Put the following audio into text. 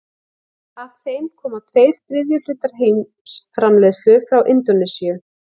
Af þeim koma tveir þriðju hlutar heimsframleiðslu frá Indónesíu.